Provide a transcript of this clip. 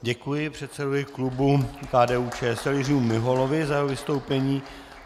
Děkuji předsedovi klubu KDU-ČSL Jiřímu Miholovi za jeho vystoupení.